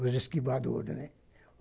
Os esquivadores, né?